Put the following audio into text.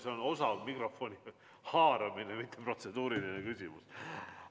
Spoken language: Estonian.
See on osav mikrofoni haaramine, mitte protseduuriline küsimus.